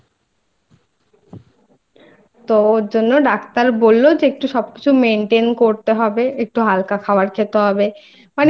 তো ওর জন্য Doctor বলল যে একটু সবকিছু Maintain